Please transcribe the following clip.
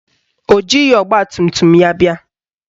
O jighị ọgbatumtum ya bịa